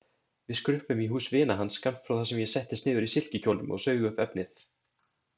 Við skruppum í hús vina hans skammt frá þar sem ég settist niður í silkikjólnum og saug upp efnið.